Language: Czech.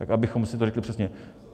Tak abychom si to řekli přesně.